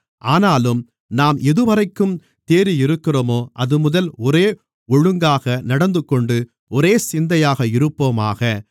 ஆனாலும் நாம் எதுவரைக்கும் தேறியிருக்கிறோமோ அதுமுதல் ஒரே ஒழுங்காக நடந்துகொண்டு ஒரே சிந்தையாக இருப்போமாக